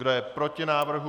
Kdo je proti návrhu?